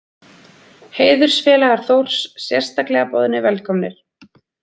Heiðursfélagar Þórs sérstaklega boðnir velkomnir.